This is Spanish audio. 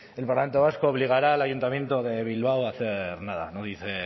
el parlamento vasco obligará al ayuntamiento de bilbao a hacer nada no dice